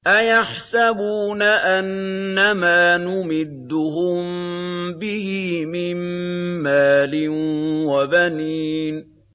أَيَحْسَبُونَ أَنَّمَا نُمِدُّهُم بِهِ مِن مَّالٍ وَبَنِينَ